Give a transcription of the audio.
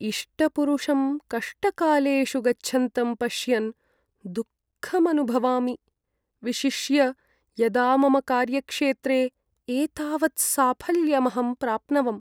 इष्टपुरुषं कष्टकालेषु गच्छन्तं पश्यन् दुःखमनुभवामि, विशिष्य यदा मम कार्यक्षेत्रे एतावत् साफल्यमहं प्राप्नवम्।